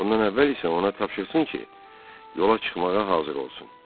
Bundan əvvəl isə ona tapşırılsın ki, yola çıxmağa hazır olsun.